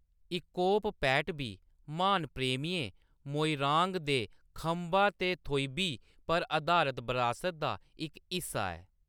इकोप पैट बी म्हान प्रेमियें मोईरांग दे खंबा ते थोईबी पर अधारत बरासत दा इक हिस्सा ऐ।